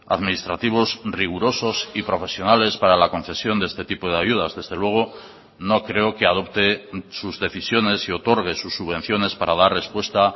administrativos rigurosos y profesionales para la concesión de este tipo de ayudas desde luego no creo que adopte sus decisiones y otorgue sus subvenciones para dar respuesta